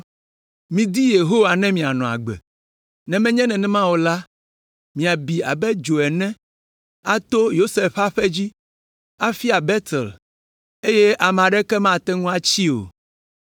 Midi Yehowa ne mianɔ agbe, ne menye nenema o la; miabi abe dzo ene ato Yosef ƒe aƒe dzi, afia Betel, eye ame aɖeke mate ŋu atsii o.